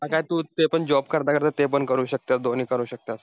काय तू ते पण job करता करता ते पण करू शकते, दोन्ही करू शकता.